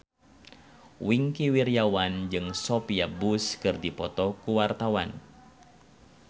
Wingky Wiryawan jeung Sophia Bush keur dipoto ku wartawan